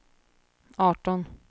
arton